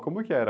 Como que era?